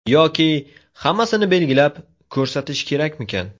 Yoki hammasini belgilab, ko‘rsatish kerakmikan?